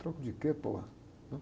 A troco de quê?